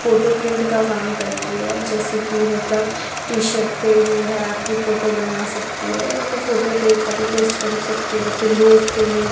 photo print का काम करती है जैसे कि मतलब टी शर्ट पे जो है आपकी फोटो बना सकती है मतलब फोटो पे कॉपी पेस्ट कर सकती है पिल्लोस पे --